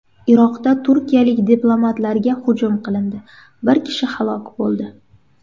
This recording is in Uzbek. Iroqda turkiyalik diplomatlarga hujum qilindi, bir kishi halok bo‘ldi.